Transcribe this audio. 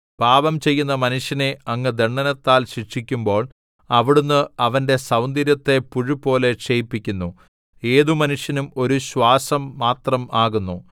പാപം ചെയ്യുന്ന മനുഷ്യനെ അങ്ങ് ദണ്ഡനത്താൽ ശിക്ഷിക്കുമ്പോൾ അവിടുന്ന് അവന്റെ സൗന്ദര്യത്തെ പുഴുപോലെ ക്ഷയിപ്പിക്കുന്നു ഏതു മനുഷ്യനും ഒരു ശ്വാസം മാത്രം ആകുന്നു സേലാ